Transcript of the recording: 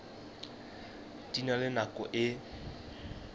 di na le nako e